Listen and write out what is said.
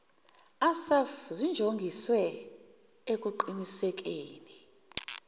assaf zinjongiswe ekuqinisekeni